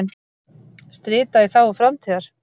Strita í þágu framtíðar.